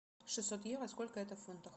шестьсот евро сколько это в фунтах